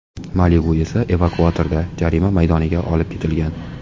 Malibu esa evakuatorda jarima maydoniga olib ketilgan.